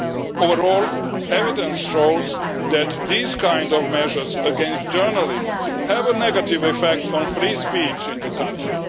Overall, evidence shows that these kind of measures against journalists have a negative effect on free speech in the country.